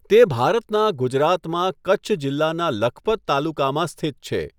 તે ભારતનાં ગુજરાતમાં કચ્છ જિલ્લાનાં લખપત તાલુકામાં સ્થિત છે.